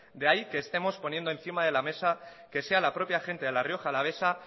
de ahí que estemos poniendo encima de la mesa que sea la propia gente de la rioja alavesa